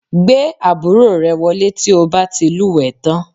Gbé àbúrò rẹ wọlé tí o bá ti lúwẹ̀ẹ́ tán